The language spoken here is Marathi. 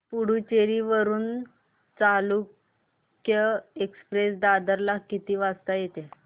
पुडूचेरी वरून चालुक्य एक्सप्रेस दादर ला किती वाजता येते